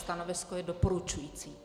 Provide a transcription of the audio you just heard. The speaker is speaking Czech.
Stanovisko je doporučující.